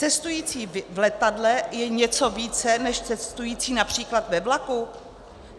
Cestující v letadle je něco více než cestující například ve vlaku?